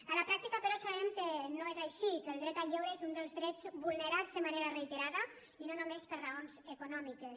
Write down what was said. a la pràctica però sabem que no és així que el dret al lleure és un dels drets vulnerats de manera reiterada i no només per raons econòmiques